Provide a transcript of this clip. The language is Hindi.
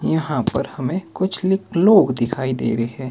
यहां पर हमें कुछ ली लोग दिखाई दे रहे--